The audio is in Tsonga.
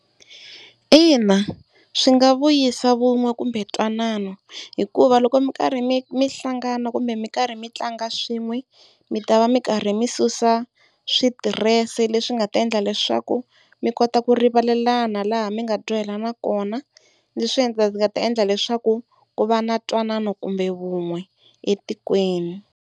Ina swi nga vuyisa vun'we kumbe twanana hikuva loko mi karhi mi mi hlangana kumbe mi karhi mi tlanga swin'we mi ta va mi karhi mi susa switirese, leswi nga ta endla leswaku mi kota ku rivalelana laha mi nga dyohelana kona. Leswi nga ta endla leswaku ku va na ntwanano kumbe vun'we etikweni.